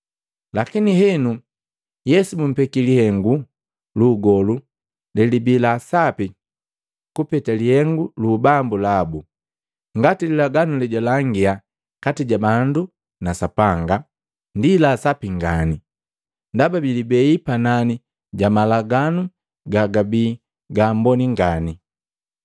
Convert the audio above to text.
Lakini henu Yesu bumpeki lihengu lu ugolu lelibi la sapi kupeta lihengu lu ubambu labu, ngati lilaganu le jwalangia kati ja bandu na Sapanga ndi la sapi ngani, ndaba biilibei panani ja malaganu ga gabii ga amboni ngani.